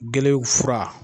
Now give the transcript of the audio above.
Gele fura